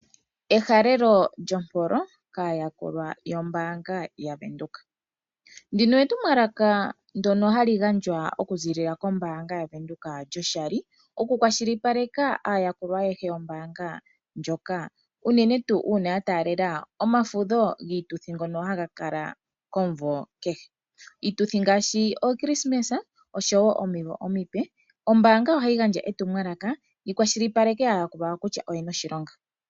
Ehalelo lyompolo kaayakulwa yombaanga yaVenduka. Ndino etumwalaka ndyono ha li gandjwa oku ziilila kombaanga yaVenduka lyoshali, oku kwa shilipaleka aayakulwa ayehe yombaanga ndjoka unene ngele ya taalela omafudho giituthi ngono ha ga kalako omunvo kehe. Iituthi ngaashi Okrisimesa nosho woo ominvo omipe, ombaanga oha yi gandja etumwalaka yi kwashilipaleke kutya aayakulwa yawo oyena oshilonga.